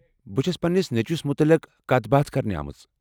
بہٕ چھس پنٛنس نیٚچوِس مٗتعلق کتھ باتھ کرنہِ آمٕژ ۔